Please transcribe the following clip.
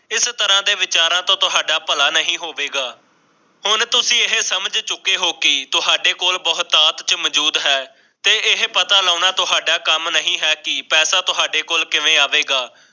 ਇਸ ਤਰਾਂ ਦੇ ਵਿਚਾਰਾਂ ਤੋਂ ਤੁਹਾਡਾ ਭਲਾ ਨਹੀਂ ਹੋਵੇਗਾ ਹੁਣ ਤੁਸੀਂ ਏ ਸਮਝ ਚੁਕੇ ਹੋ ਕਿ ਤੁਹਾਡੇ ਕੋਲ ਬਹੁਤਾਤ ਚ ਮੌਜੂਦ ਹੈ ਤੇ ਏ ਪਤਾ ਲਾਉਂਣਾ ਥੋਡਾ ਕੰਮ ਨਹੀਂ ਹੈ ਕਿ ਪੈਸੇ ਤੁਹਾਡੇ ਕੋਲ ਕਿਵੇਂ ਆਵੇਗਾ